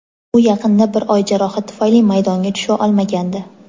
U yaqinda bir oy jarohat tufayli maydonga tusha olmagandi.